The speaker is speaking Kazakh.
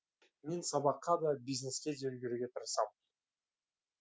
мен сабаққа да бизнеске де үлгеруге тырысамын